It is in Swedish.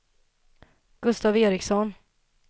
Gustav Ericson